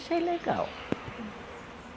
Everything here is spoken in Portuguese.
Achei legal.